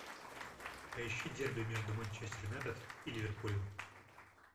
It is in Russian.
поищи дерби между манчестер юнайтед и ливерпулем